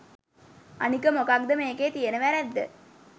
අනික මොකද්ද මෙකේ තියෙන වැරැද්ද